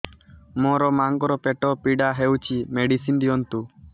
ମୋ ମାଆଙ୍କର ପେଟ ପୀଡା ହଉଛି ମେଡିସିନ ଦିଅନ୍ତୁ